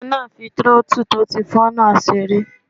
Ọmọ náà n fi tírótù tó ti fọ́ náà seré